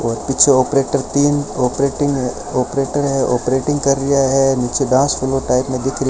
और पीछे ऑपरेटर तीन ऑपरेटिंग ऑपरेटर है ऑपरेटिंग कर रिया है नीचे डांस फ्लोर टाइप में दिख --